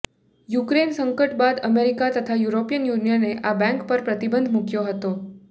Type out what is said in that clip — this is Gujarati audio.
યૂક્રેન સંકટ બાદ અમેરિકા તથા યુરોપિયન યૂનિયને આ બેંક પર પ્રતિબંધ મૂક્યો હતો